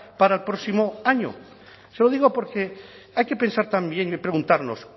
para el próximo año se lo digo porque hay que pensar también y preguntarnos